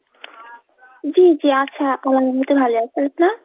জি জি আছে।